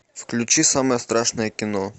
включи самое страшное кино